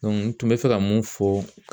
n tun bɛ fɛ ka mun fɔ